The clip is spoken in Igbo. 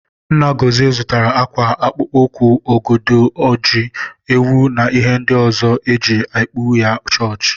Nna Gọzie zụtara ákwà, akpụkpọ ụkwụ, ọgọdọ, ji, ewu na ihe ndị ọzọ eji ekupu ya chọọchị.